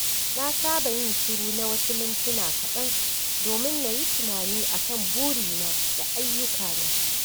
Na saba yin shiru na wasu mintuna kaɗan domin na yi tunani a kan burina da ayyukana.